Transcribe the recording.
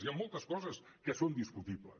hi ha moltes coses que són discutibles